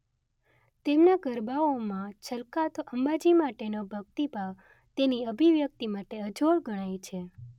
તેમના ગરબાઓમાં છલકાતો અંબાજી માટેનો ભક્તિભાવ તેની અભિવ્યક્તિ માટે અજોડ ગણાય છે